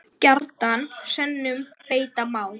Gjarnan sönnum beita má.